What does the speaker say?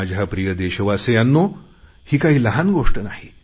माझ्या प्रिय देशवासियांनो ही काही लहान गोष्ट नाही